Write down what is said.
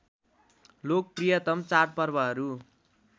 लोकप्रियतम चाड पर्वहरू